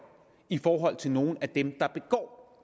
i forhold til nogle af dem der begår